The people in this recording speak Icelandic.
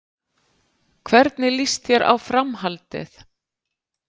Hvernig líst þér á Framhaldið?